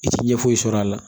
I ti ɲɛ foyi sɔrɔ a la